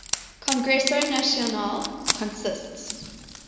congreso nacional consists